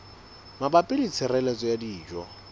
mabapi le tshireletso ya dijo